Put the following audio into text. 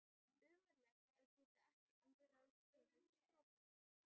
Ömurlegt að geta ekki um frjálst höfuð strokið.